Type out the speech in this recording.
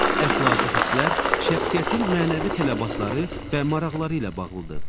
Əxlaqi hisslər şəxsiyyətin mənəvi tələbatları və maraqları ilə bağlıdır.